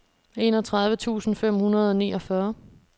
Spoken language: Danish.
enogtredive tusind fem hundrede og niogfyrre